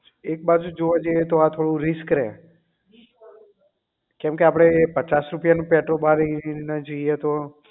એક બાજુ જોવા જઈએ તો આ થોડું risk રહે કેમ કે એ આપડે પચાસ રૂપિયા નું પેટ્રોલ બારી ને જઈએ તો